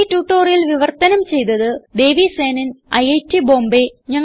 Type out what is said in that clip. ഈ ട്യൂട്ടോറിയൽ വിവർത്തനം ചെയ്തത് ദേവി സേനൻ ഐറ്റ് ബോംബേ